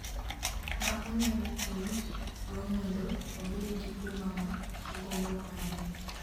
ma onyalo tiyo go mondo obed gi huma ma ogombo ahinya